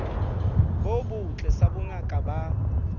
bo botle sa bongaka ba